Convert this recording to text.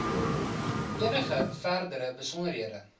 enige verdere besonderhede